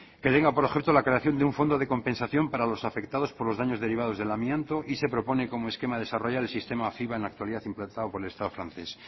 que tenga por objeto la creación de un fondo de compensación para los afectados por los daños derivados del amianto y se propone como esquema a desarrollar el sistema fiva en la actualidad implantado por el estado francés